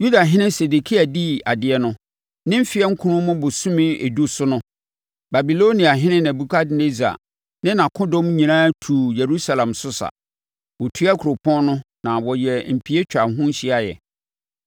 Yudahene Sedekia dii adeɛ no, ne mfeɛ nkron mu bosome edu so no, Babiloniahene Nebukadnessar ne nʼakodɔm nyinaa tuu Yerusalem so sa, wɔtua kuropɔn no na wɔyɛɛ mpie twaa ho hyiaeɛ.